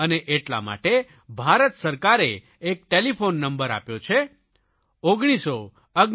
અને એટલા માટે ભારત સરકારે એક ટેલિફોન નંબર આપ્યો છે 1969